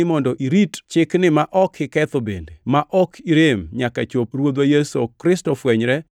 mondo irit Chikni ma ok iketho bende ma ok irem nyaka chop Ruodhwa Yesu Kristo fwenyre